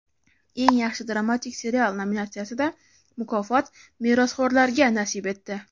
"Eng yaxshi dramatik serial" nominatsiyasida mukofot "Merosxo‘rlar"ga nasib etdi.